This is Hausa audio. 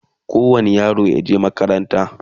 kowani yaro yaje makaranta